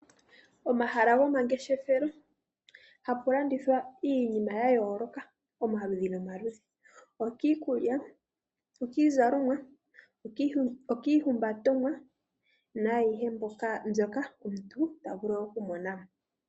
Momahala gomangeshefelo oha mu landithwa iinima ya yoolokathana ngaashi iikulya, iizalomwa, iihumbatomwa naayihe mbyoka omuntu ta vulu okumonamo.